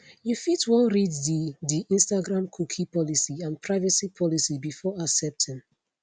you fit wan read di di instagramcookie policyandprivacy policybefore accepting